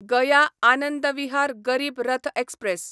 Gaya Anand Vihar Garib Rath express